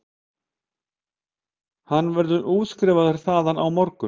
Hann verður útskrifaður þaðan á morgun